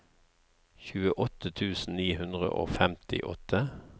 tjueåtte tusen ni hundre og femtiåtte